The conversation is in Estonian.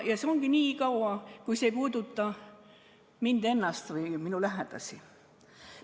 Sedasi ongi nii kaua, kui see ei puuduta mind ennast või minu lähedasi.